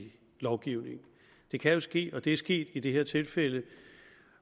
i lovgivningen det kan jo ske og det er sket i det her tilfælde